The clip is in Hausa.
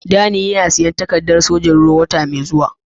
Danny yana shirin siyan takaddan sojoji'n ruwa na Nijeriya wota mai zuwa.